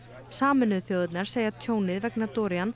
sameinuðu þjóðirnar segja tjónið vegna